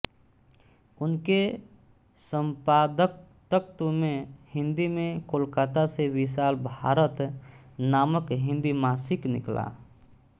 उनके सम्पादकत्व में हिन्दी में कोलकाता से विशाल भारत नामक हिन्दी मासिक निकला